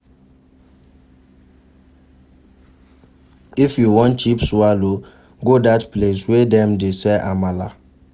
If you wan cheap swallow, go dat place wey dem dey sell amala.